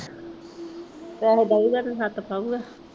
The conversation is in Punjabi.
ਪੈਸੇ ਦਿਊਗਾ ਤੇ ਛੱਤ ਪਊਗਾ।